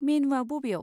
मेनुआ बबेयाव?